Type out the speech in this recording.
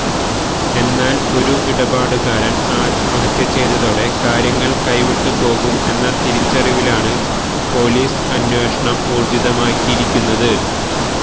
എന്നാല് ഒരു ഇടപാടുകാരന് ആത്മഹത്യ ചെയ്തതതോടെ കാര്യങ്ങള് കൈവിട്ടു പോകും എന്ന തിരിച്ചറിവിലാണ് പോലീസ് അന്വേഷണം ഊര്ജ്ജിതമാക്കിയിരിക്കുന്നത്